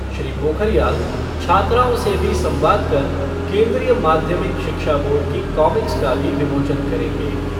श्री पोखरियाल छात्राओं से भी संवाद कर केन्द्रीय माध्यमिक शिक्षा बोर्ड की कॉमिक्स का भी विमोचन करेंगे।